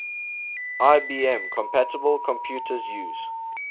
ibm compatible computers use